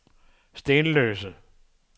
Stenløse